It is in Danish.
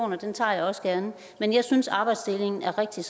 og den tager jeg også gerne men jeg synes arbejdsdelingen er rigtig